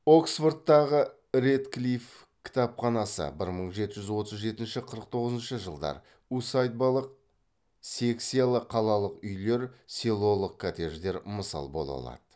оксфордтағы рэдклифф кітапханасы бір мың жеті жүз отыз жетінші қырық тоғызыншы жылдар усадьбалық секциялы қалалық үйлер селолық коттедждер мысал бола алады